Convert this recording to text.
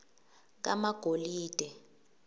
kamagolide